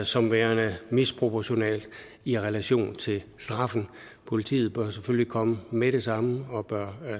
som værende misproportionalt i relation til straffen politiet bør selvfølgelig komme med det samme og bør